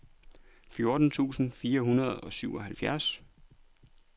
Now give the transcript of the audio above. fjorten tusind fire hundrede og syvoghalvfjerds